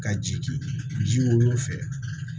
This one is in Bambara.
Ka jigin ji woloyɔrɔ fɛ